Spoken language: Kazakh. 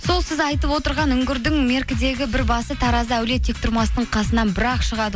сол сіз айтып отырған үңгірдің меркідегі бір басы тараздағы әулие тектұрмастың қасынан бір ақ шығады